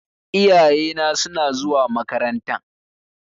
Iyayena suna zuwa makarantan.